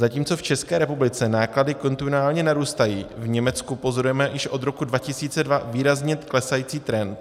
Zatímco v České republice náklady kontinuálně narůstají, v Německu pozorujeme již od roku 2002 výrazně klesající trend.